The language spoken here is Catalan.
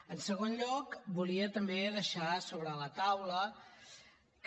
en segon lloc volia també deixar sobre la taula que